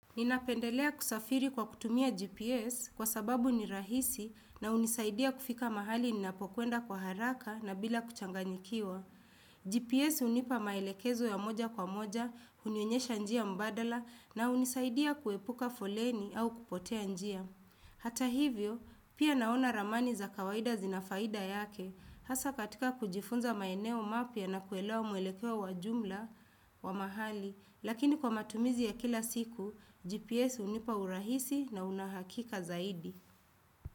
Ninapendelea kusafiri kwa kutumia GPS kwa sababu ni rahisi na hunisaidia kufika mahali ninapokwenda kwa haraka na bila kuchanganyikiwa. GPS hunipa maelekezo ya moja kwa moja, hunionyesha njia mbadala na hunisaidia kuepuka foleni au kupotea njia. Hata hivyo, pia naona ramani za kawaida zinafaida yake. Hasa katika kujifunza maeneo mapya na kuelewa mwelekeo wa jumla wa mahali, lakini kwa matumizi ya kila siku, GPS hunipa urahisi na una hakika zaidi.